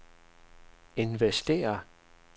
investere